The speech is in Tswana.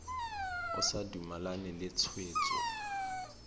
o sa dumalane le tshwetso